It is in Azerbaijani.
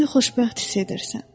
özünü xoşbəxt hiss edirsən.